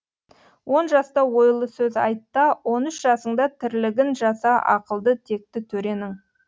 он жаста ойлы сөз айт та он үш жасыңда тірлігін жаса ақылды текті төренің